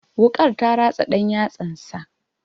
Wuƙar ta ratsa ɗan yatsansa.